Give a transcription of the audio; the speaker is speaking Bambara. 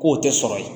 K'o tɛ sɔrɔ yen